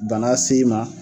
Bana s'e ma